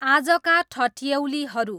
आजका ठट्यैलीहरू